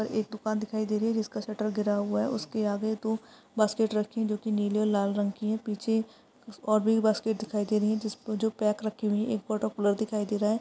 और एक दुकान दिखाई दे रही है जिसका शटर गिरा हुआ है। उसके आगे तो बास्केट रखी है जो कि नीले और लाल रंग की है। पीछे और भी बास्केट दिखाई दे रही है जो पैक रखी हुई है। एक वाटर कलर दिखाई दे रहा है।